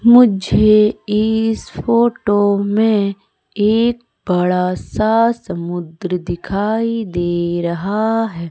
मुझे इस फोटो में एक बड़ा सा समुद्र दिखाई दे रहा है।